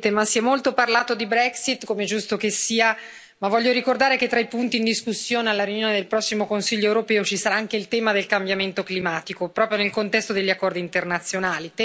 colleghi, si è molto parlato di Brexit, come è giusto che sia, ma voglio ricordare che tra i punti in discussione alla riunione del prossimo Consiglio europeo ci sarà anche il tema del cambiamento climatico, proprio nel contesto degli accordi internazionali, tema su cui vorrei concentrarmi io.